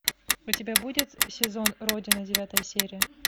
у тебя будет сезон родина девятая серия